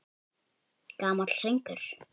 Gamall söngur!